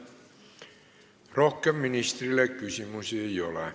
Rohkem ministrile küsimusi ei ole.